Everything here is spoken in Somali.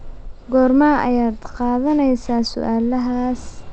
Goorma ayaad qaadanaysaa su'aalahaas?